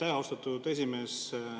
Aitäh, austatud esimees!